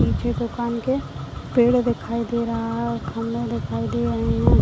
पीछे दुकान के पेड़ दिखाई दे रहा है खंभा दिखाई दे रहे है।